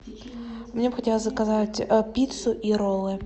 мне бы хотелось заказать пиццу и роллы